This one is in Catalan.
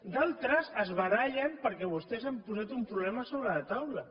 d’altres es barallen perquè vostès han posat un problema sobre la taula